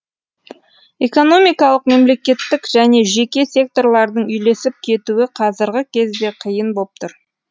экономикалық мемлекеттік және жеке секторлардың үйлесіп кетуі қазіргі кезде қиын боп тұр